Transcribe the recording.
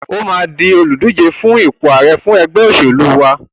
O máa di olùdíje fún ipò ààre fún ẹgbẹ́ òṣẹ̀lú wa.